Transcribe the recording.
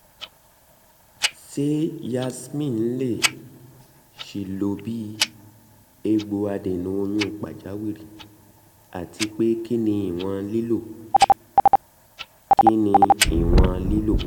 ṣe yasmin le ṣee lo bi egbogi adena oyun pajawiri? atipe kini iwọn lilo? kini iwọn lilo?